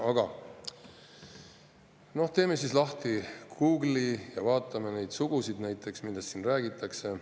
Aga noh, teeme lahti Google'i ja vaatame neid sugusid, millest siin räägitakse.